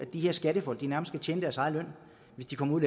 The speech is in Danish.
de her skattefolk nærmest ville indtjene deres egen løn hvis de kom ud